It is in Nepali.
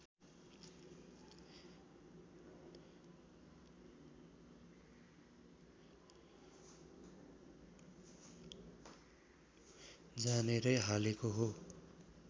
जानेरै हालेको हो